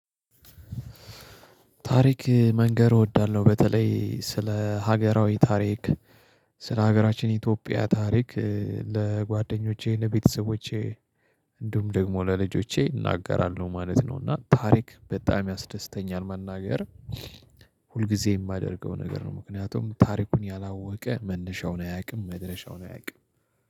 ታሪክ መንገር እወዳለሁ በተለይ ስለ ሀገራዊ ታሪክ ስለ ሀገራችን ኢትዮጵያ ታሪክ ለጓደኞቼ ለቤተሰቦቼ እንዲሁም ደግሞ ለልጆቼ እናገራለሁ ማለት ነው። እና ታሪክ በጣም ያስደስተኛል መናገር። ሁል ጊዜ የማደርገው ነገር ነው ምክንያቱም ታሪኩን ያላወቀ መነሻውን አያውቅም መድረሻውን አያውቅም።